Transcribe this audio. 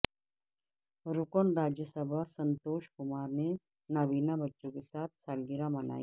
رکن راجیہ سبھا سنتوش کمار نے نابینا بچوں کے ساتھ سالگرہ منائی